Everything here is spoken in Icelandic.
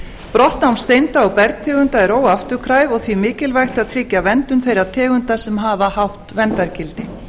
brottnám steinda og bergtegunda er óafturkræft og því mikilvægt að tryggja verndun þeirra tegunda sem hafa hátt verndargildi